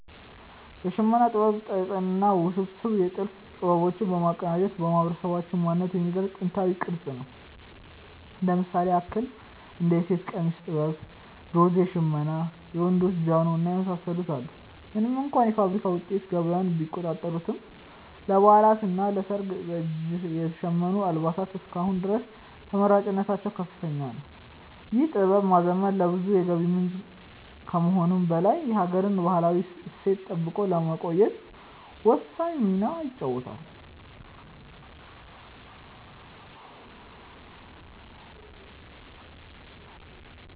የሽመና ጥበብ ጥጥንና ውስብስብ የጥልፍ ጥበቦች በማቀናጀት የማህበረሰባችንን ማንነት የሚገልጽ ጥንታዊ ቅርስ ነው። እንደ ምሳሌ ያክል እንደ የሴት ቀሚስ ጥበብ፣ ዶርዜ ሽመና፣ የወንዶች ጃኖ እና የመሳሰሉትን አሉ። ምንም እንኳ የፋብሪካ ውጤቶች ገበያውን ቢቆጣጠሩትም፣ ለበዓላትና ለሰርግ በእጅ የተሸመኑ አልባሳት እስከ አሁን ድረስ ተመራጭነታቸው ከፍተኛ ነው። ይህን ጥበብ ማዘመን ለብዙዎች የገቢ ምንጭ ከመሆኑም በላይ የሀገርን ባህላዊ እሴት ጠብቆ ለማቆየት ወሳኝ ሚና ይጫወታል።